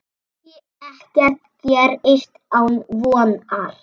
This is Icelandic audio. Því ekkert gerist án vonar.